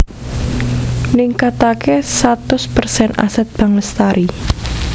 Ningkatake satus persen Aset Bank Lestari